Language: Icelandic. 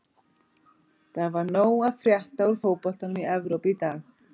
Það var nóg að frétta úr fótboltanum í Evrópu í dag.